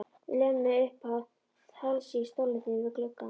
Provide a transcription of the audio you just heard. Lömuð uppað hálsi í stólnum þínum við gluggann.